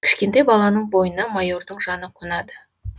кішкентай баланың бойына майордың жаны қонады